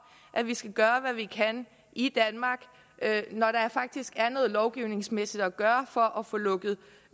at vi skal gøre hvad vi kan i danmark når der faktisk er noget lovgivningsmæssigt at gøre for at få lukket